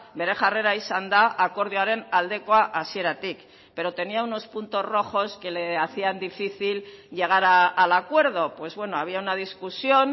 bere jarrera izan da akordioaren aldekoa hasieratik pero tenía unos puntos rojos que le hacían difícil llegar al acuerdo pues bueno había una discusión